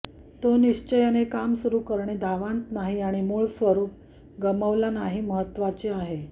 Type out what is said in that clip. तो निश्चयाने काम सुरू करणे धावांत नाही आणि मूळ स्वरूप गमावला नाही महत्वाचे आहे